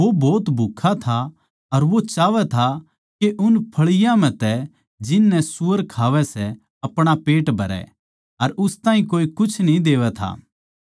वो भोत भुक्खा था अर वो चाहवै था के उन फळियाँ म्ह तै जिन नै सूअर खावै थे अपणा पेट भरै अर उस ताहीं कोए कुछ कोनी देवै था